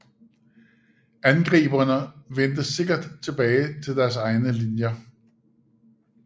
Angriberne vendte sikkert tilbage til deres egne linjer